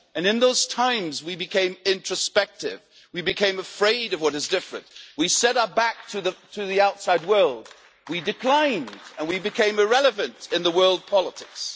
And in those times when we became introspective, we became afraid of what is different, we set our backs to the outside world, we declined and we became irrelevant in world politics.